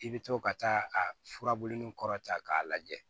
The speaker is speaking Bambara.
I bɛ to ka taa a furabuluni kɔrɔ ta k'a lajɛ